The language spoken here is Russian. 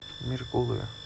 меркулове